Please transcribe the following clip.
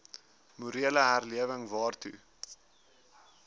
morele herlewing waartoe